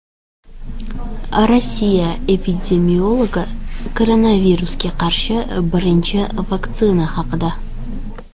Rossiya epidemiologi koronavirusga qarshi birinchi vaksina haqida.